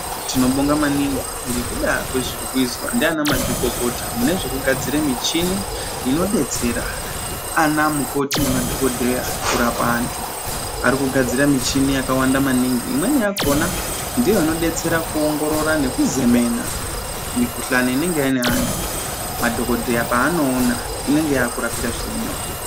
Tinobonga maningi ngekuda kwezvirikuizwa ndianamazvikokota mune zvekugadzire michini inodetsera anamukoti nemadhokodheya kurapa antu. Ari kugadzira michini yakawanda maningi. Imweni yakhona ndiyo inodetsera kuongorora nekuzemena mikhuhlani inenge ine antu madhokodheya paanoona inenge yakurapika zvirinyore.